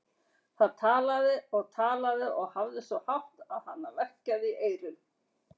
Það talaði og talaði og hafði svo hátt að hana verkjaði í eyrun.